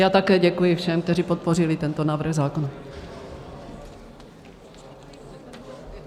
Já také děkuji všem, kteří podpořili tento návrh zákona.